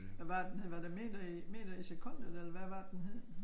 Hvad var det den hed var det meter i meter i sekundet eller hvad var det den hed?